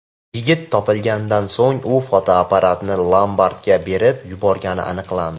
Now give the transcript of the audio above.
Yigit topilganidan so‘ng u fotoapparatni lombardga berib yuborgani aniqlandi.